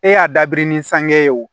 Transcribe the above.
E y'a dabiri ni sange ye wo